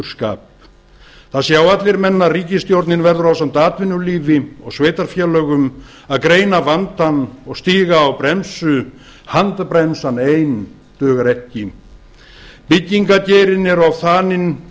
og flaustursskap það sjá allir menn að ríkisstjórnin verður ásamt atvinnulífi og sveitarfélögum að greina vandann og stíga á bremsu handbremsan ein dugar ekki byggingageirinn er of þaninn